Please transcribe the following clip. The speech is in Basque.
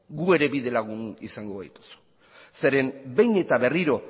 gu ere bidelagun izango gaituzu zeren behin eta berriro